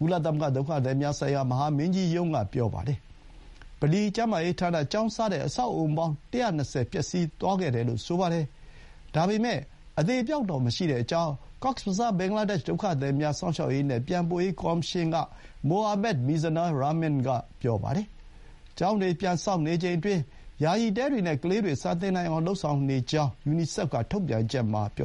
ကုလသမဂ္ဂ ဒုက္ခသည်များဆိုင်ရာ မဟာမင်းကြီးရုံးက ပြောပါတယ်။ ဗလီ၊ ကျန်းမာရေးဌာန၊ ကျောင်း စတဲ့ အဆောက်အအုံပေါင်း ၁၂၀ ပျက်စီးသွားခဲ့တယ်လို့ ဆိုပါတယ်။ ဒါပေမဲ့ အသေအပျောက်တော့ မရှိကြောင်း ကောက်စ်ဘဇား ဘင်္ဂလားဒေ့ရှ် ဒုက္ခသည်များ စောင့်ရှောက်ရေးနဲ့ ပြန်ပို့ရေးကော်မရှင်က မိုဟာမက် မီဇနား ရာမင်န် (Mohammed Mizanur Rahman) က ပြောပါတယ်။ ကျောင်းတွေ ပြန်ဆောက်နေချိန်အတွင်း ယာယီတဲတွေနဲ့ ကလေးတွေ စာသင်နိုင်အောင်လုပ်ဆောင်နေကြောင်း ယူနီဆက်ဖ်က ထုတ်ပြန်ချက်မှာ ပြော